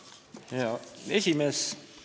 Hea esimees!